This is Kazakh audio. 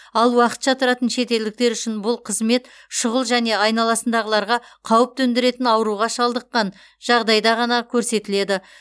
ал уақытша тұратын шетелдіктер үшін бұл қызмет шұғыл және айналасындағыларға қауіп төндіретін ауруға шалыдыққан жағдайда ғана көрсетіледі